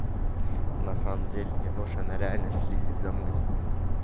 на самом деле не ложь она реально следит за мной